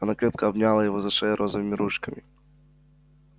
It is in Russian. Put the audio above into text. она крепко обняла его за шею розовыми ручками